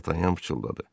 Dartanyan pıçıldadı.